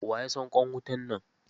Wa ya fasa ƙwan wutan nan?